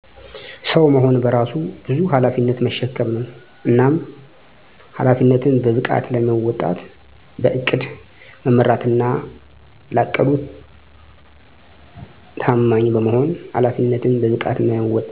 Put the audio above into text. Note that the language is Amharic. ሰዉ መሆን በራሱ በዙ ኃላፊነትን መሸከም ነዉ። እናም ኃላፊነትን በብቃት ለመወጣት በዕቅድ መመራትና ላቀዱት ዕድድ ታማኝ በመሆን ኃላፊነትን በብቃት መወጣት ይቻላል።